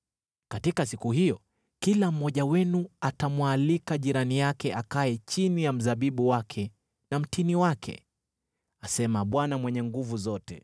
“ ‘Katika siku hiyo kila mmoja wenu atamwalika jirani yake akae chini ya mzabibu wake na mtini wake,’ asema Bwana Mwenye Nguvu Zote.”